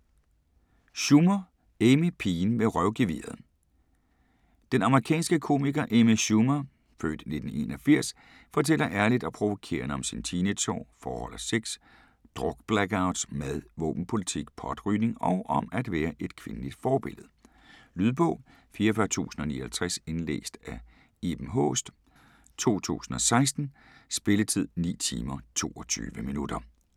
Schumer, Amy: Pigen med røvgeviret Den amerikanske komiker Amy Schumer (f. 1981) fortæller ærligt og provokerende om sine teenageår, forhold og sex, drukblackouts, mad, våbenpolitik, potrygning og om at være et kvindeligt forbillede. Lydbog 44059 Indlæst af Iben Haaest, 2016. Spilletid: 9 timer, 22 minutter.